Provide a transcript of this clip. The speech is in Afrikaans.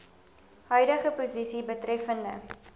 huidige posisie betreffende